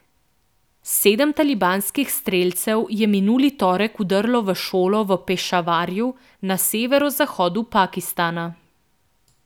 Sedem talibanskih strelcev je minuli torek vdrlo v šolo v Pešavarju na severozahodu Pakistana.